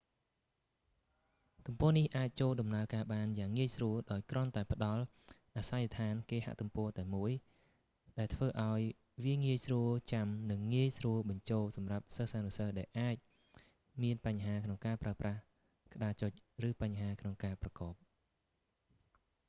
ទំព័រនេះអាចចូលដំណើរការបានយ៉ាងងាយស្រួលដោយគ្រាន់តែផ្តល់អាសយដ្ឋានគេហទំព័រតែមួយ ដែលធ្វើឱ្យវាងាយស្រួលចាំនឹងងាយស្រួលបញ្ចូលសម្រាប់សិស្សានុសិស្សដែលអាចមានបញ្ហាក្នុងការប្រើប្រាស់ក្ដារចុច ឬបញ្ហាក្នុងការប្រកប